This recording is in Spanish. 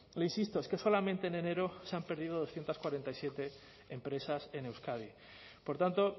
le insisto es que solamente en enero se han perdido doscientos cuarenta y siete empresas en euskadi por tanto